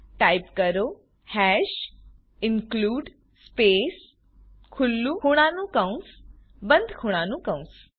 type કરો hash include space ખુલ્લું ખૂણાનું કૌંસ બંધ ખૂણાનું કૌંસ